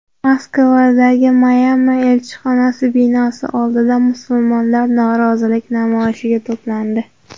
Moskvadagi Myanma elchixonasi binosi oldida musulmonlar norozilik namoyishiga to‘plandi.